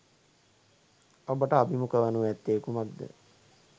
ඔබට අභිමුඛ වනු ඇත්තේ කුමක්ද?